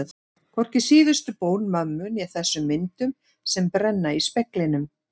Hvorki síðustu bón mömmu né þessum myndum sem brenna í speglinum.